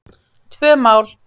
Tvö mál